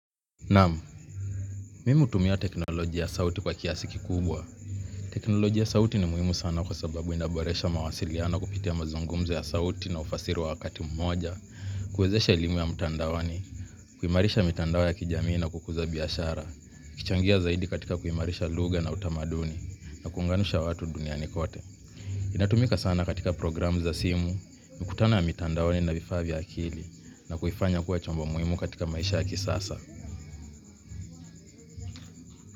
Naam, mimi hutumia teknolojia ya sauti kwa kiasi kikubwa. Teknolojia ya sauti ni muhimu sana kwa sababu ina boresha mawasiliano kupitia mazungumzo ya sauti na ufasiri wakati mmoja, kuwezesha elimu ya mtandaoni, kuimarisha mitandao ya kijamii na kukuza biashara, kuchangia zaidi katika kuimarisha lugha na utamaduni, na kuunganisha watu duniani kote. Inatumika sana katika programu za simu, mkutano ya mtandoni na vifaa vya akili, na kufanya kuwa chombo muhimu katika maisha ya kisasa.